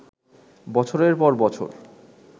বছরের পর বছর